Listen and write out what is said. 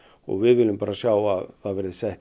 við viljum sjá að það verði sett